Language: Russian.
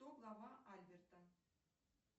кто глава альберта